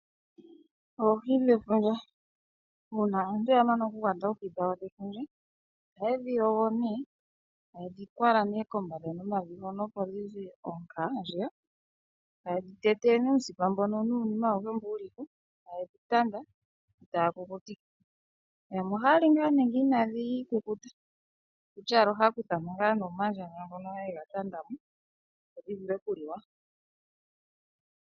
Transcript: Oohi dhefundja, uuna aantu ya mana oku kwata oohi dhawo dhefundja ohaye dhi yogo etaye dhi kwala kombanda nomavi, opo dhi ze oonka yo taye dhi te te uusipa nuunima awuhe mboka wu li ko, etaye dhi tanda etaye dhi ku kutike, yamwe ohaya li ngaa nee nenge inadhi kukutikwa, okutya owala ohaya kutha mo omandjandja ngono haye ga tanda mo, opo dhi vule oku li wa.